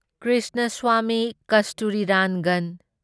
Krishnaswamy Kasturirangan